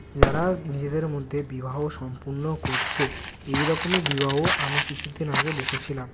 যারা নিজেদের মধ্যে বিবাহ সম্পন্ন করছে এই রকমই বিবাহ আমি কিছুদিন আগে দেখেছিলাম।